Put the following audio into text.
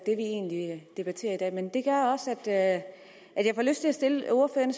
egentlig debatterer i dag men det gør også at jeg får lyst til at stille ordføreren